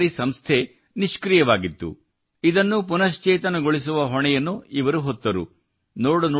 ಈ ಸಹಕಾರಿ ಸಂಸ್ಥೆ ನಿಷ್ಕ್ರಿಯವಾಗಿತ್ತು ಇದನ್ನು ಪುನಶ್ಚೇತನಗೊಳಿಸುವ ಹೊಣೆಯನ್ನು ಇವರು ಹೊತ್ತರು